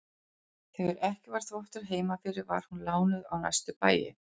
Þegar ekki var þvottur heima fyrir var hún lánuð á næstu bæi.